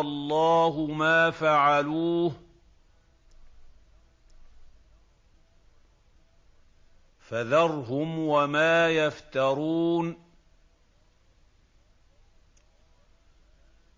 اللَّهُ مَا فَعَلُوهُ ۖ فَذَرْهُمْ وَمَا يَفْتَرُونَ